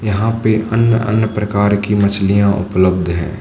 यह पे अन्य अन्य प्रकार की मछलियां उपलब्ध हैं।